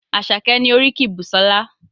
Àṣàkẹ́ ni oríkì Busola.